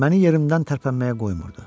Məni yerimdən tərpənməyə qoymurdu.